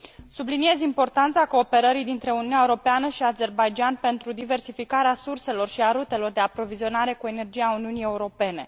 Subliniez importanța cooperării dintre Uniunea Europeană și Azerbaidjan pentru diversificarea surselor și a rutelor de aprovizionare cu energie a Uniunii Europene.